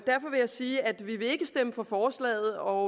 sige at vi ikke vil stemme for forslaget og